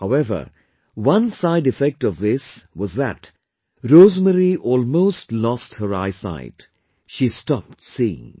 However, one sideeffect of this was that Rosemary almost lost her eyesight; she stopped seeing